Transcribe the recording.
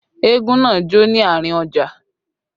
Eégún náà jó ní àárín ọjà